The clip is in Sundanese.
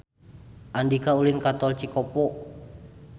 Andika ulin ka Tol Cikopo